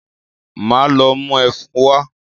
Máa lọ mú ẹfun wá.